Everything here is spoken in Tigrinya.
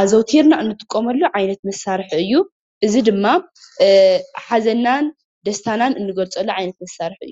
ኣዘውቲርና እንጥቀመሉ ዓይነት መሳርሒ እዩ፡፡ እዚ ድማ ሓዘንናን ደስታናን እንገልፀሉ ዓይነት መሳርሒ እዩ፡፡